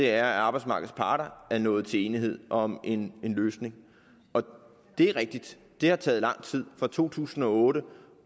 er at arbejdsmarkedets parter er nået til enighed om en løsning det er rigtigt at det har taget lang tid fra to tusind og otte